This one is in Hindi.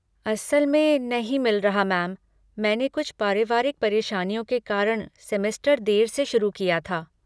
असल में नहीं मिल रहा मैम, मैंने कुछ पारिवारिक परेशानियों के कारण सेमेस्टर देर से शुरू किया था।